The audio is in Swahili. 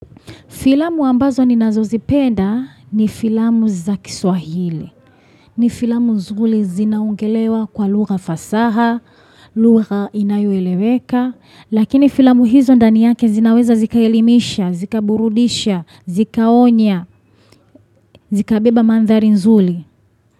Filamu ambazo ninazozipenda ni filamu za kiswahili. Ni filamu nzuri zinaongelewa kwa lugha fasaha, lugha inayoeleweka. Lakini filamu hizo ndani yake zinaweza zikaelimisha, zikaburudisha, zikaonya, zikabeba mandhari nzuri.